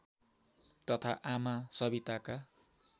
तथा आमा सविताका